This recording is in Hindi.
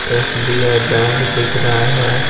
एसबीआई बैंक दिख रहा है।